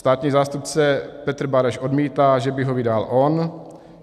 Státní zástupce Petr Bareš odmítá, že by ho vydal on.